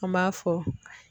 An b'a fɔ